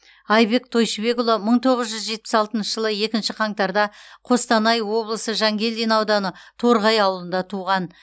айбек тойшыбекұлы мың тоғыз жүз жетпіс алтыншы жылы екінші қаңтарда қостанай облысы жангелдин ауданы торғай ауылында туған